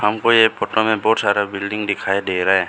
हमको ये फोटो में बहुत सारा बिल्डिंग दिखाई दे रहा है।